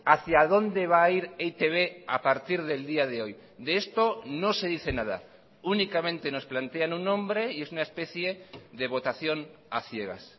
hacia dónde va a ir e i te be a partir del día de hoy de esto no se dice nada únicamente nos plantean un nombre y es una especie de votación a ciegas